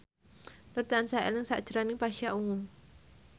Nur tansah eling sakjroning Pasha Ungu